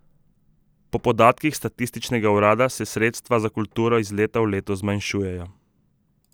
Po podatkih statističnega urada se sredstva za kulturo iz leta v leto zmanjšujejo.